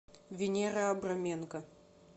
венера абраменко